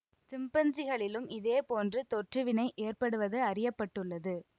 சிம்பன்சிகளிலும் இதே போன்று தொற்றுவினை ஏற்படுவது அறிய பட்டுள்ளது